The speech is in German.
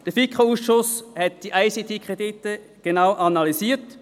Der FiKo-Ausschuss hat die ICTKredite genau analysiert.